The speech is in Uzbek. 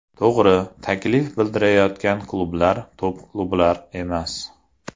To‘g‘ri, taklif bildirayotgan klublar top klublar emas.